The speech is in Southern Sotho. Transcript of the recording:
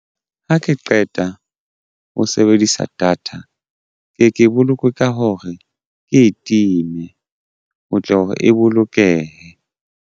Ha ke qeta ho sebedisa data ke ke boloke ka hore ke e time o tle hore e bolokehe.